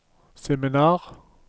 seminar